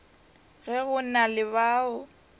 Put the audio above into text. ge go na le bao